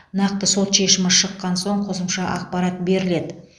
нақты сот шешімі шыққан соң қосымша ақпарат беріледі